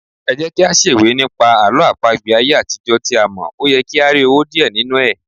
Ẹjẹ́kí á ṣèwé nípa àwọn Àlọ́ àpagbè ayé àtijó tí a mọ̀, óyẹ kí á rí owó díẹ̀ nínú ẹ̀.